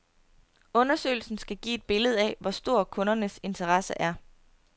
Undersøgelsen skal give et billede af, hvor stor kundernes interesse er.